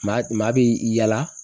Maa maa bɛ yaala